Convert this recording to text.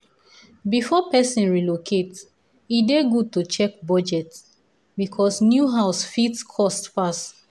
before person relocate e dey good to check budget because new house fit cost pass.